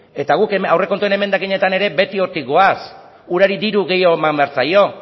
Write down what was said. eta guk aurrekontuen emendakinetan ere beti hortik goaz urari diru gehiago eman behar zaio